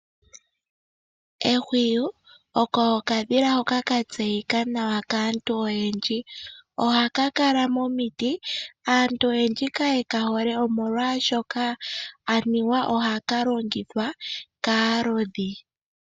Ehwiyu oko okadhila hoka ka tseyika nawa kaantu oyendji, ohaka kala momiti. Aantu oyendji kaye ka hole omolwashoka aniwa ohaka longithwa kaakuusiku.